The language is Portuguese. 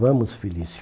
Vamos, Felício.